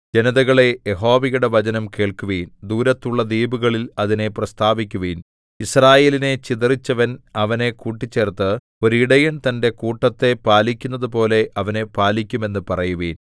ജനതകളേ യഹോവയുടെ വചനം കേൾക്കുവിൻ ദൂരത്തുള്ള ദ്വീപുകളിൽ അതിനെ പ്രസ്താവിക്കുവിൻ യിസ്രായേലിനെ ചിതറിച്ചവൻ അവനെ കൂട്ടിച്ചേർത്ത് ഒരിടയൻ തന്റെ കൂട്ടത്തെ പാലിക്കുന്നപോലെ അവനെ പാലിക്കും എന്ന് പറയുവിൻ